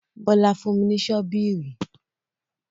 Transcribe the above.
Bólà fún mi ní sọbíìrì.